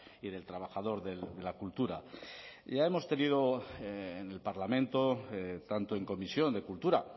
y del trabajador de la cultura ya hemos tenido en el parlamento tanto en comisión de cultura